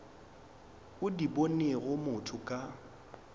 o di bonego motho ka